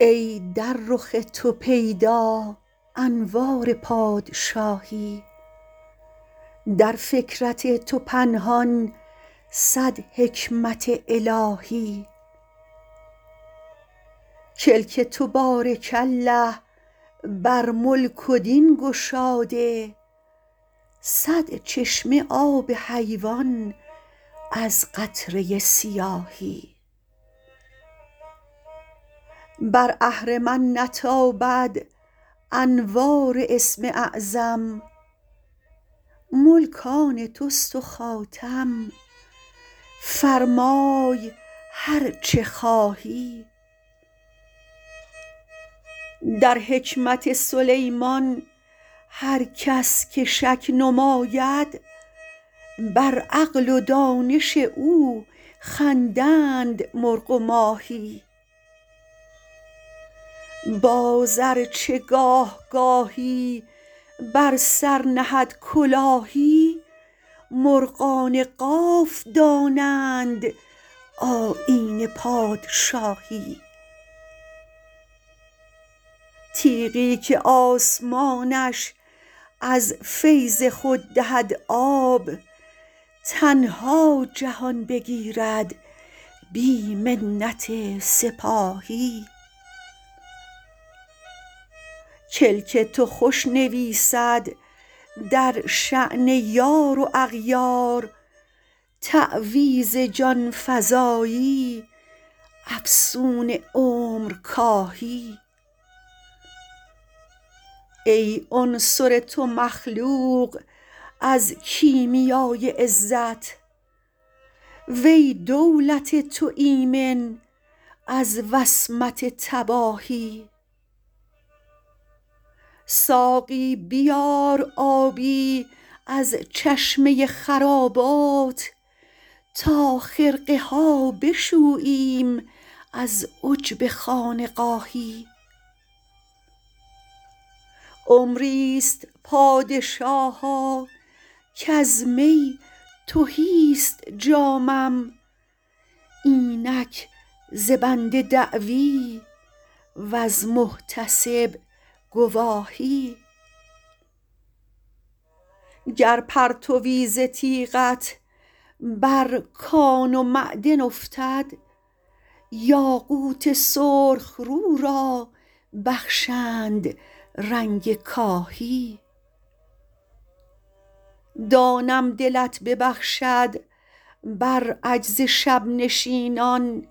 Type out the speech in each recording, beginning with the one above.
ای در رخ تو پیدا انوار پادشاهی در فکرت تو پنهان صد حکمت الهی کلک تو بارک الله بر ملک و دین گشاده صد چشمه آب حیوان از قطره سیاهی بر اهرمن نتابد انوار اسم اعظم ملک آن توست و خاتم فرمای هر چه خواهی در حکمت سلیمان هر کس که شک نماید بر عقل و دانش او خندند مرغ و ماهی باز ار چه گاه گاهی بر سر نهد کلاهی مرغان قاف دانند آیین پادشاهی تیغی که آسمانش از فیض خود دهد آب تنها جهان بگیرد بی منت سپاهی کلک تو خوش نویسد در شأن یار و اغیار تعویذ جان فزایی افسون عمرکاهی ای عنصر تو مخلوق از کیمیای عزت و ای دولت تو ایمن از وصمت تباهی ساقی بیار آبی از چشمه خرابات تا خرقه ها بشوییم از عجب خانقاهی عمری ست پادشاها کز می تهی ست جامم اینک ز بنده دعوی وز محتسب گواهی گر پرتوی ز تیغت بر کان و معدن افتد یاقوت سرخ رو را بخشند رنگ کاهی دانم دلت ببخشد بر عجز شب نشینان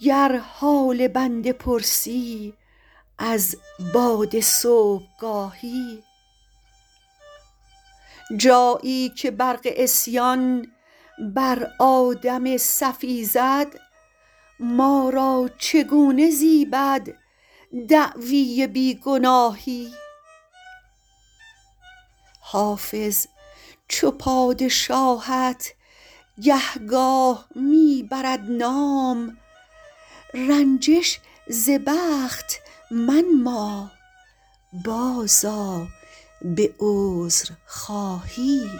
گر حال بنده پرسی از باد صبحگاهی جایی که برق عصیان بر آدم صفی زد ما را چگونه زیبد دعوی بی گناهی حافظ چو پادشاهت گهگاه می برد نام رنجش ز بخت منما بازآ به عذرخواهی